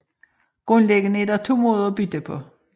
Grundlæggende er der to måder at bytte på